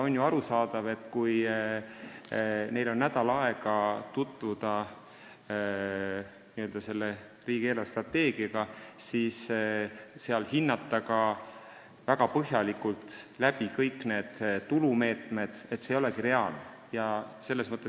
On ju arusaadav, et kui neil on nädal aega, et tutvuda riigi eelarvestrateegiaga, siis ei ole reaalne väga põhjalikult kõiki tulumeetmeid hinnata.